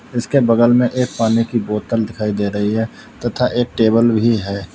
इसके बगल में एक पानी की बोतल भी दिखाई दे रही है तथा एक टेबल भी है।